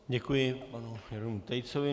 Děkuji panu Jeronýmu Tejcovi.